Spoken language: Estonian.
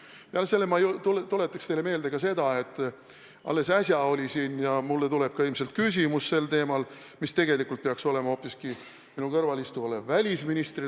Peale selle ma tuletaks teile meelde ka seda, et alles äsja oli siin arutusel ja mulle tuleb ka ilmselt küsimus teemal, mis tegelikult peaks olema hoopiski minu kõrval istuva välisministri teema.